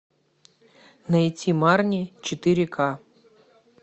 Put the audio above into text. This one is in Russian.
найти марни четыре ка